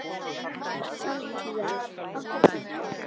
Santía, áttu tyggjó?